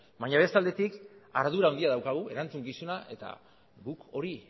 baina beste aldetik ardura handia daukagu erantzukizuna eta guk hori